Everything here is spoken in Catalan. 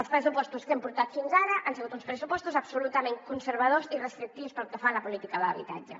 els pressupostos que hem portat fins ara han sigut uns pressupostos absolutament conservadors i restrictius pel que fa a la política d’habitatge